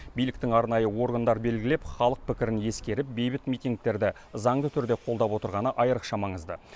биліктің арнайы орындар белгілеп халық пікірін ескеріп бейбіт митингтерді заңды түрде қолдап отырғаны айрықша маңызды